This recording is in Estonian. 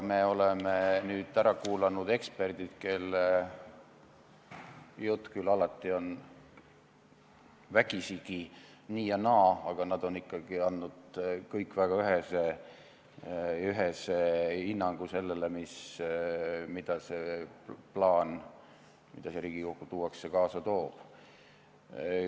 Me oleme nüüd ära kuulanud eksperdid, kelle jutt küll alati on vägisi nii ja naa, aga nad on ikkagi andnud kõik väga ühese hinnangu sellele, mida see plaan, mis siia Riigikokku tuuakse, kaasa toob.